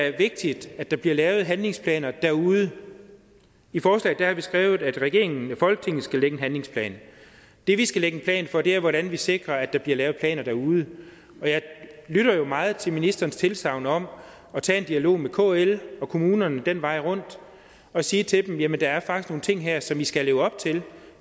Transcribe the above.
er vigtigt at der bliver lavet handlingsplaner derude i forslaget har vi skrevet at regeringen og folketinget skal lægge en handlingsplan det vi skal lægge en plan for er hvordan vi sikrer at der bliver lavet planer derude jeg lytter jo meget til ministerens tilsagn om at tage en dialog med kl og kommunerne den vej rundt og sige til dem jamen der er faktisk nogle ting her som i skal leve op til